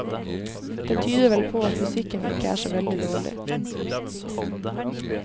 Det tyder vel på at fysikken ikke er så veldig dårlig.